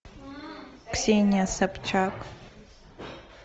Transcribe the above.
ксения собчак